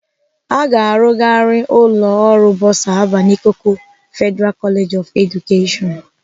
Aga arụgharị ụlọ ọrụ Bọsa Alvan Ikoku Federal College of Education.